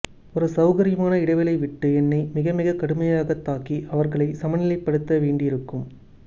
ஒரு சௌகரியமான இடைவெளி விட்டு என்னை மிகமிகக் கடுமையாகத் தாக்கி அவர்களைச் சமநிலைப்படுத்தவேண்டியிருக்கும்